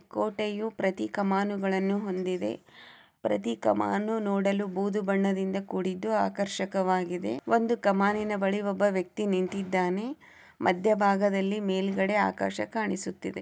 ಕೋಟೆಯು ಪ್ರತಿಕಮಾನುಗಳನ್ನು ಹೊಂದಿದೆ ಪ್ರತಿಕಮಾನು ನೋಡಲು ಬೂದು ಬಣ್ಣದಿಂದ ಕೂಡಿದ್ದು ಆಕರ್ಷಿಕವಾಗಿದೆ. ಒಂದು ಕಮಾನಿನ ಬಳಿ ಒಬ್ಬ ವ್ಯಕ್ತಿ ನಿಂತಿದ್ದಾನೆ ಮಧ್ಯಭಾಗದಲ್ಲಿ ಮೇಲ್ಗಡೆ ಆಕಾಶ ಕಾಣಿಸುತ್ತಿದೆ